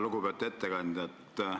Lugupeetud ettekandja!